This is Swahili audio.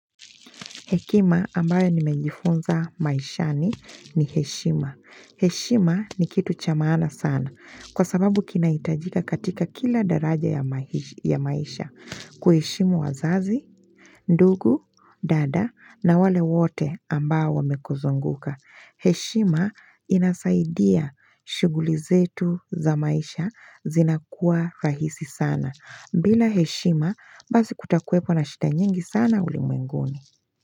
Hekima ambayo nimejifunza maishani, ni heshima. Heshima ni kitu cha maana sana kwa sababu kinahitajika katika kila daraja ya maisha. Kuheshimu wazazi, ndugu, dada na wale wote ambao wamekuzunguka. Heshima inasaidia shughuli zetu za maisha zinakuwa rahisi sana. Bila heshima, basi kutakuepo na shida nyingi sana ulimenguni.